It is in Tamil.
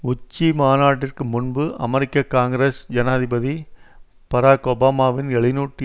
உச்சிமாநாட்டிற்கு முன்பு அமெரிக்க காங்கிரஸ் ஜனாதிபதி பராக் ஒபாமாவின் எழுநூற்றி